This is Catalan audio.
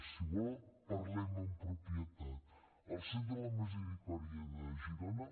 si vol parlem amb propietat el centre de la misericòrdia de girona